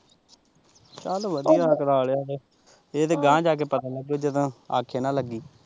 ਚੱਲ ਵਧੀਆ ਕਰਾ ਲਿਆ ਤੇ ਇਹ ਤਾਂ ਗਾਹ ਜਾ ਕੇ ਪਤਾ ਲੱਗੂ ਜਦੋਂ ਆਖੇ ਨਾ ਲੱਗੀ।